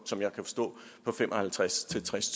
som jeg kan forstå på fem og halvtreds til tres